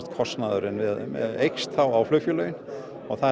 kostnaður aukist á flugfélögin og það